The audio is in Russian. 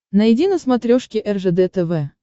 найди на смотрешке ржд тв